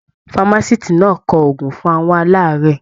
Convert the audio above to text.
Famaciti náà kọ oògùn fún àwọn alaarẹ̀.